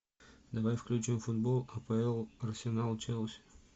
давай включим футбол апл арсенал челси